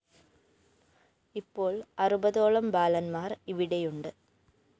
ഇപ്പോള്‍ അറുപതോളം ബാലന്മാര്‍ ഇവിടെയുണ്ട്